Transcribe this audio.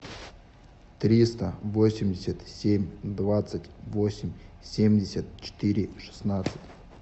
триста восемьдесят семь двадцать восемь семьдесят четыре шестнадцать